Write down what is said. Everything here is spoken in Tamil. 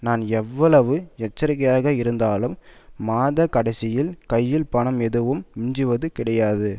நான் எவ்வளவு எச்சரிக்கையாக இருந்தாலும் மாத கடைசியில் கையில் பணம் ஏதும் மிஞ்சுவது கிடையாது